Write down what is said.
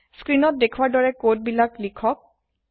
স্ক্ৰীনত দেখুওাৰ দৰে কোড বিলাক লিখক